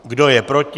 Kdo je proti?